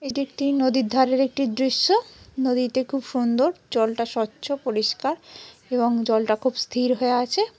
এটি একটি নদীর ধারের একটি দৃশ্য নদীতে খুব সুন্দর জলটা স্বচ্ছ পরিষ্কার এবং জলটা খুব স্থির হয়ে আছে।